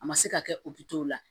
A ma se ka kɛ o bi to o la